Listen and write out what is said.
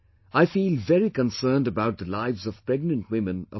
I feel very concerned about the lives of pregnant women of our country